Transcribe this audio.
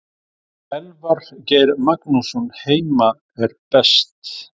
Elvar Geir Magnússon Heima er best.